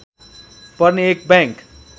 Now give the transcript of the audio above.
पर्ने एक बैंक